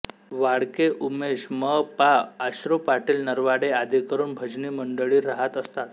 वाळके उमेश म पाआश्रू पाटील नरवाडे आदिकरून भजनी मंडळी राहत असतात